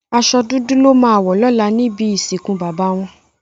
Àsò dúdú lò má wò lòlá nibi isinkú baba wòn